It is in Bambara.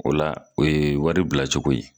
O la, o ye wari bila cogo ye.